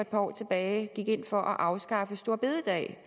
par år tilbage gik ind for at afskaffe store bededag